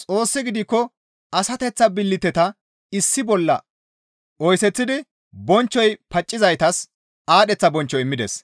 Xoossi gidikko asateththa billiteta issi bolla oyseththidi bonchchoy paaccizaytas aadheththa bonchcho immides.